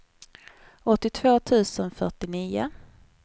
åttiotvå tusen fyrtionio